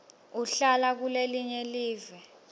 uhlala kulelinye live